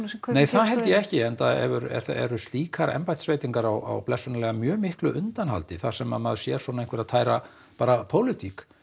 nei það held ég ekki enda eru slíkar embættisveitingar á blessunarlega mjög miklu undanhaldi þar sem að maður sér svona einhverja tæra bara pólitík